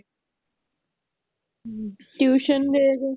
tution ਦੇਗਾ